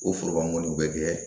O foroban mɔniw bɛ kɛ